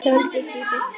Sóldísi í fyrsta sinn.